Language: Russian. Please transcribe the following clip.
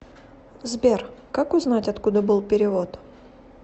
сбер как узнать откуда был перевод